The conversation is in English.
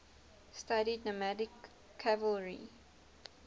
studied nomadic cavalry